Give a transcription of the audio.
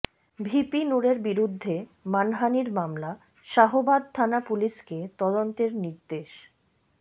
VP নুরের বিরুদ্ধে মানহানির মামলা শাহবাগ থানা পুলিশকে তদন্তের নির্দেশ